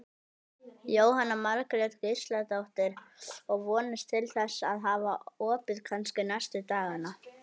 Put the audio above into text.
Jóhanna Margrét Gísladóttir: Og vonist til þess að hafa opið kannski næstu dagana?